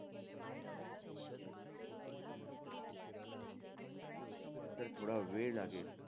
तर थोडा वेळ लागेल.